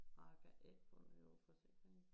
Jeg kan ikke få det over forsikringen